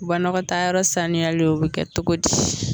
Banakɔtaayɔrɔ sanuyali o be kɛ togo di